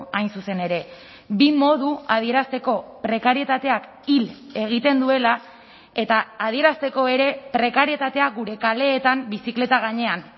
hain zuzen ere bi modu adierazteko prekarietateak hil egiten duela eta adierazteko ere prekarietatea gure kaleetan bizikleta gainean